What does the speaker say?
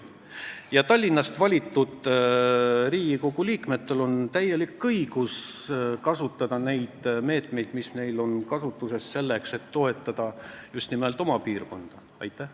Ja Tallinnast valitud Riigikogu liikmetel on täielik õigus kasutada meetmeid, mis on nende käsutuses, selleks et just nimelt oma piirkonda toetada.